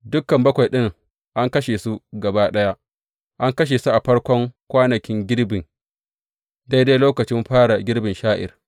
Dukan bakwai ɗin an kashe su gaba ɗaya; an kashe su a farkon kwanankin girbi, daidai lokacin fara girbin sha’ir.